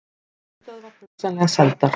Höfuðstöðvar hugsanlega seldar